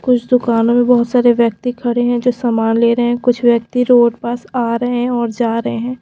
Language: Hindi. कुछ दुकानों में बहुत सारे व्यक्ति खड़े हैं जो सामान ले रहे हैं कुछ व्यक्ति रोड पास आ रहे हैं और जा रहे हैं।